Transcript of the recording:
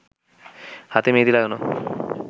হাতে মেহেদি লাগানো